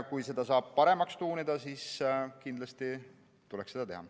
Kui seda saab paremaks tuunida, siis kindlasti tuleks seda teha.